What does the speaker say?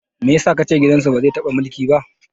Me yasa kace gidan su ba zai taɓa mulki ba?